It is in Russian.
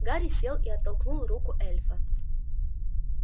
гарри сел и оттолкнул руку эльфа